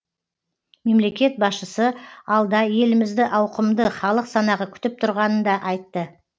мемлекет басшысы алда елімізді ауқымды халық санағы күтіп тұрғанын да айтты